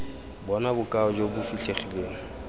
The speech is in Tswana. bona bokao jo bo fitlhegileng